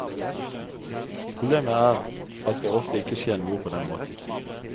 Problemet er at det ofte ikke skjer noe på den måten.